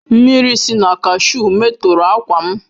Mmiri si na kashuu metọrọ ákwà m.